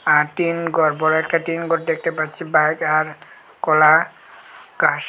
আর tin ঘর বড় একটা টিনঘর দেখতে পাচ্ছি বাইক আর খোলা ঘাস--